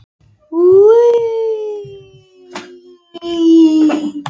Fyrsta spurning var: Teljið upp reikistjörnur sólar í réttri röð.